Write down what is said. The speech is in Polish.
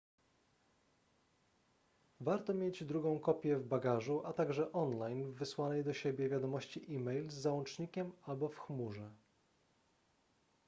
warto mieć drugą kopię w bagażu a także online w wysłanej do siebie wiadomości e-mail z załącznikiem albo w chmurze